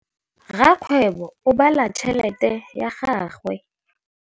Rakgwêbô o bala tšheletê ya gagwe.